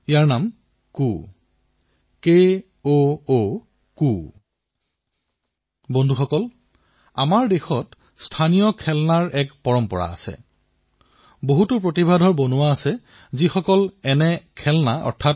ইয়াৰ বিশেষত্ব এয়াই যে এই খেলাসামগ্ৰীবিধ কাঠেৰে নিৰ্মাণ কৰা হয় আৰু দ্বিতীয় কথাটো এয়েই যে এই খেলাসামগ্ৰীবিধত আপুনি কতো কোণ বা এংগল এংলে বিচাৰি নাপাব